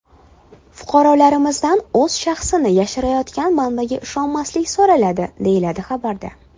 Fuqarolarimizdan o‘z shaxsini yashirayotgan manbaga ishonmaslik so‘raladi”, deyiladi xabarda.